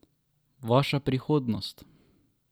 Vaša prihodnost!